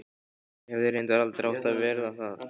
Og hefði reyndar aldrei átt að verða það.